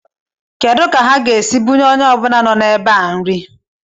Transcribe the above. Kedu ka ha ga-esi bunye onye ọbụla nọ n'ebe a nri?